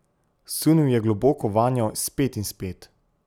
Sunil je globoko vanjo, spet in spet.